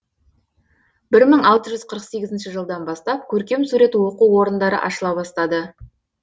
бір мың алты жүз қырық сегізінші жылдан бастап көркем сурет оқу орындары ашыла бастады